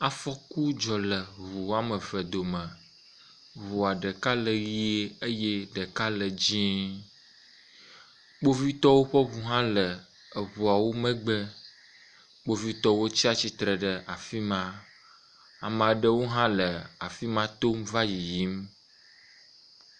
Afɔku dzɔ le ŋu wome eve dome. Ŋua ɖeka le ʋie eye ɖeka le dzɛ̃e, kpovitɔwo ƒe ŋu hã le ŋuawo megbe. Kpovitɔwo tsi atsitre ɖe afi ma. Ame aɖewo hã le afi ma tom va yiyim.